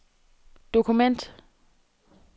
dokument